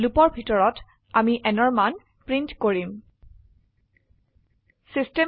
লুপৰ ভিতৰত আমি nঅৰ মান প্ৰিন্ট কৰিম